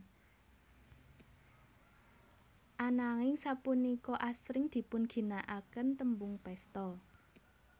Ananging sapunika asring dipunginakaken tembung pesta